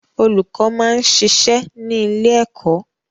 Olùkọ́ máa ń ṣiṣẹ́ ní ilé ẹkọ.